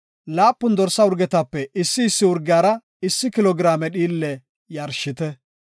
laapun dorsa urgetape issi issi urgiyara issi kilo giraame dhiille yarshite.